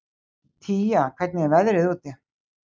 Tía, hvernig er veðrið úti?